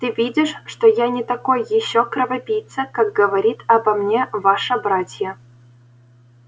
ты видишь что я не такой ещё кровопийца как говорит обо мне ваша братья